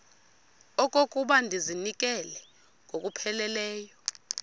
okokuba ndizinikele ngokupheleleyo